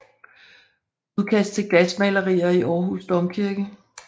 Udkast til glasmalerier i Århus Domkirke